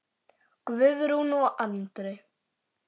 Guðrún og Andri.